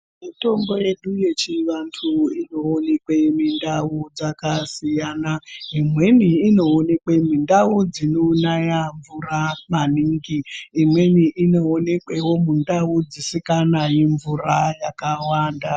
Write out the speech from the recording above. Mitombo yedu yechivantu inoonekwe mundau dzakasiyana. Imweni inooekwe mundau dzinonaya mvura maningi, imweni inoonekwavo mundau dzisikanayi mvura yakawanda.